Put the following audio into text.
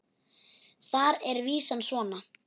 Þar er vísan svona